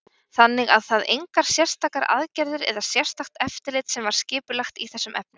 Þannig að það engar sérstakar aðgerðir eða sérstakt eftirlit sem var skipulagt í þessum efnum?